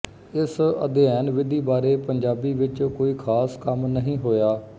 ਇਸ ਅਧਿਐਨ ਵਿਧੀ ਬਾਰੇ ਪੰਜਾਬੀ ਵਿੱਚ ਕੋਈ ਖਾਸ ਕੰਮ ਨਹੀਂ ਹੋਇਆ